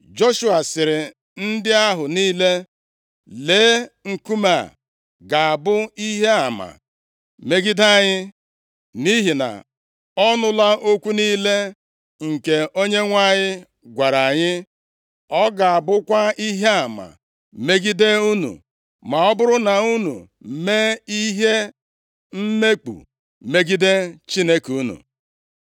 Joshua sịrị ndị ahụ niile, “Lee, nkume a ga-abụ ihe ama megide anyị. Nʼihi na ọ nụla okwu niile nke Onyenwe anyị gwara anyị. Ọ ga-abụkwa ihe ama megide unu, ma ọ bụrụ na unu mee ihe mmekpu megide Chineke unu.”